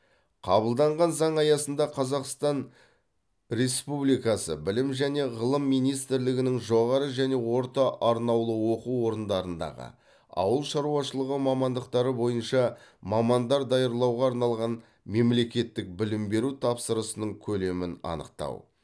қабылданған заң аясында қазақстан республикасы білім және ғылым министрлігінің жоғары және орта арнаулы оқу орындарындағы ауыл шаруашылығы мамандықтары бойынша мамандар даярлауға арналған мемлекеттік білім беру тапсырысының көлемін анықтау